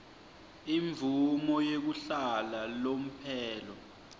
imvumo yekuhlala lomphelo